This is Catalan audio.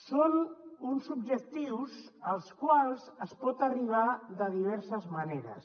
són uns objectius als quals es pot arri·bar de diverses maneres